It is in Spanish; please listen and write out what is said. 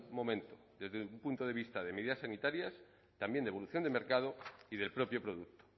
momento desde el punto de vista de medidas sanitarias también de evolución de mercado y del propio producto